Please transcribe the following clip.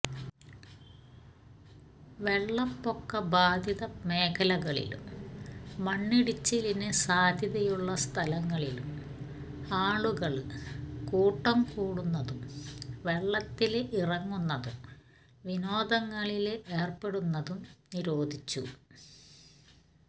വെള്ളപ്പൊക്ക ബാധിത മേഖലകളിലും മണ്ണിടിച്ചിലിന് സാധ്യതയുള്ള സ്ഥലങ്ങളിലും ആളുകള് കൂട്ടം കൂടുന്നതും വെള്ളത്തില് ഇറങ്ങുന്നതും വിനോദങ്ങളില് ഏര്പ്പെടുന്നതും നിരോധിച്ചു